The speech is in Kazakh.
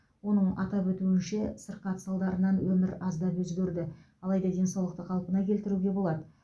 оның атап өтуінше сырқат салдарынан өмір аздап өзгерді алайда денсаулықты қалпына келтіруге болады